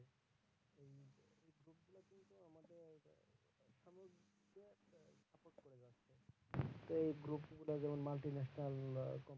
সেই group গুলা